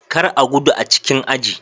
Kar a gudu a cikin aji.